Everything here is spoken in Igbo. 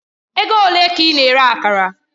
Ego ole ka ị na-ere Akara?